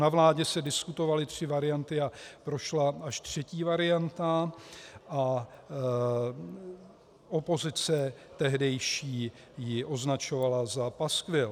Na vládě se diskutovaly tři varianty a prošla až třetí varianta a opozice tehdejší ji označovala za paskvil.